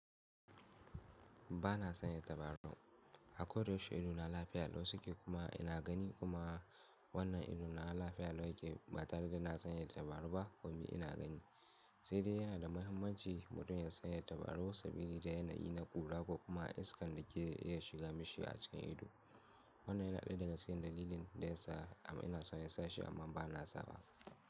Ba na sanya tabarau. Ako da yaushe ido na lafiya lau suke kuma ina gani kuma wannan ido na lafiya lau yake ba tare da na sanya tabarau ba ko mi ina gani. Sai dai yana da muhimmanci mutum ya sanya tabarau saboda yana yi na kura ko kuma iskan da ke iya shiga mishi a cikin ido. Wannan yana ɗaya daga cikin dalilin da yasa amma ina son ya sa shi amma ba na sa ba.